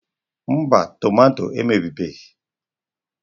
Mba, tọmatọ emebibeghi.